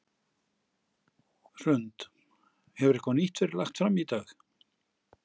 Hrund: Hefur eitthvað nýtt verið lagt fram í dag?